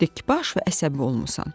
Çox dikbaş və əsəbi olmusan.